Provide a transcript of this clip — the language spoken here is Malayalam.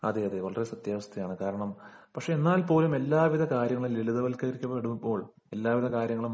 അതെയതെ വളരെ സത്യാവസ്ഥയാണ് പക്ഷേ എന്നാൽപോലും എല്ലാവിധ കാര്യങ്ങളും ലളിതവൽക്കരിക്കപ്പെടുമ്പോൾ എല്ലാവിധ കാര്യങ്ങളും